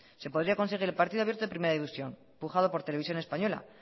se podría conseguir el partido abierto en primera división pujado por televisión española